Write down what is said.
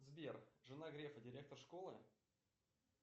сбер жена грефа директор школы